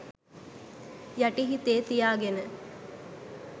යටි හිතේ තියාගෙන.